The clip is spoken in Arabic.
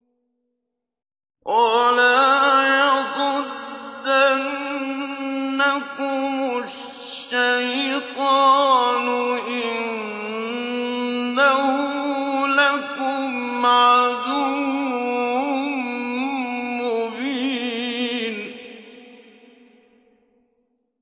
وَلَا يَصُدَّنَّكُمُ الشَّيْطَانُ ۖ إِنَّهُ لَكُمْ عَدُوٌّ مُّبِينٌ